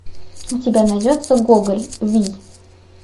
у тебя найдется гоголь вий